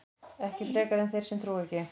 Ekki frekar en þeir sem trúa ekki.